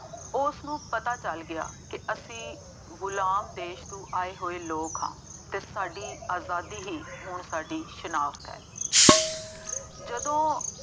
ਉਸਨੂੰ ਪਤਾ ਚੱਲ ਗਿਆ ਕਿ ਅਸੀਂ ਗੁਲਾਮ ਦੇਸ਼ ਤੋਂ ਆਏ ਹੋਏ ਲੋਕ ਹਾਂ ਅਤੇ ਸਾਡੀ ਆਜ਼ਾਦੀ ਹੀ ਹੁਣ ਸਾਡੀ ਸ਼ਨਾਖਤ ਹੈ ਜਦੋਂ